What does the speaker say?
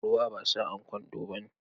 Ruwa ba sa'an kwando bane.